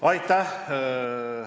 Aitäh!